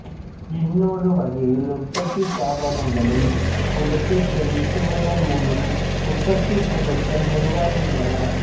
இன்னொரு வகையில் உற்பத்திச் சாதனங்களில் உழைப்பைச் செலுத்துவதன் மூலம் உற்பத்திப் பொருட்கள் உருவாகின்றன